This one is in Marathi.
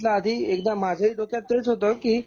म्हटलं आधी एकदा माझे डोक्यात तेच होत कि